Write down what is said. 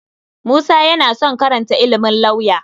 Musa yana son karanta ilimin lauya.